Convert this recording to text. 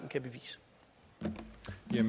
vi